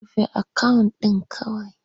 Rufe akawun ɗin kawai!